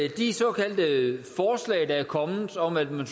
at de såkaldte forslag der er kommet om at man